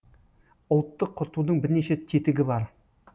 ұлтты құртудың бірнеше тетігі бар